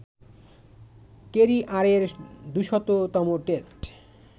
কেরিয়ারের দু'শত তম টেস্ট